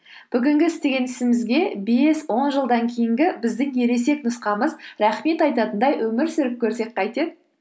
бүгінгі істеген ісімізге бес он жылдан кейінгі біздің ересек нұсқамыз рахмет айтатындай өмір сүріп көрсек қайтеді